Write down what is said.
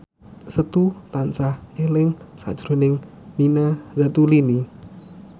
Setu tansah eling sakjroning Nina Zatulini